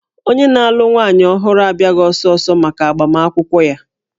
Onye na-alụ nwaanyị ọhụrụ abịaghị ọsọ ọsọ maka agbamakwụkwọ ya